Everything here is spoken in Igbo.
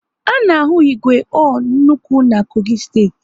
A na ahu igwe ore n'nnukwu na Kogi steeti